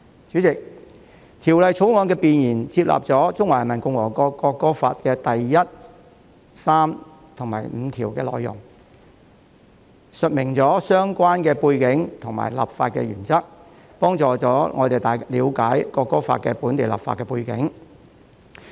主席，《國歌條例草案》的弁言納入了《國歌法》第一、三及五條的內容，述明相關背景及立法原則，以助大家了解就《國歌法》進行本地立法的背景。